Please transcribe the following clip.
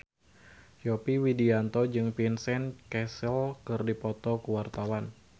Yovie Widianto jeung Vincent Cassel keur dipoto ku wartawan